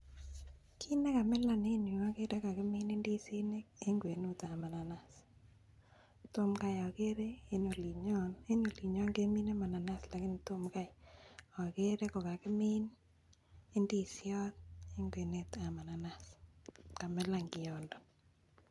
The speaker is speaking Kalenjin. Kit nekamilan en yu ogere kagimin indisinik en kwenutab mananas, tom kai ogere en olinyon. En olinyon kemine manans lakini tom kai ogere kogakimin indisiot en kwenetab mananas kamilan kiondo.